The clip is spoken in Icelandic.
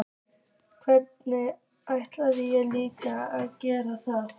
Hvernig ætti ég líka að geta það?